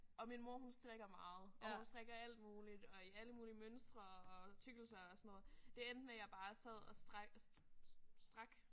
Og min mor hun strikker meget og hun strikker alt muligt og i alle mulige mønstre og tykkelser og sådan noget. Det endte med jeg bare sad og strak strak